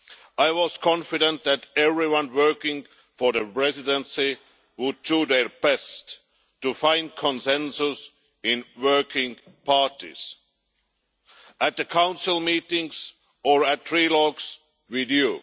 I was confident that everyone working for the Presidency would do their best to find consensus in working parties, at the Council meetings or at trilogues with you.